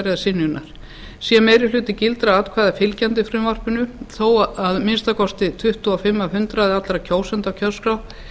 eða synjunar sé meiri hluti gildra atkvæða fylgjandi frumvarpinu þó að minnsta kosti tuttugu og fimm af hundraði allra kjósenda á kjörskrá